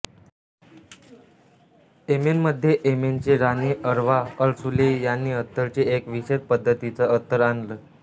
येमेनमध्ये येमेनची राणी Arwa Al Sulayhi यांनी अत्तरची एक विशेष पद्धतीचं अत्तर आणलं